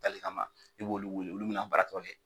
Dali kama i b'olu weele olu bina a baara tɔ kɛ